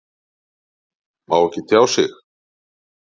Má ekki tjá sig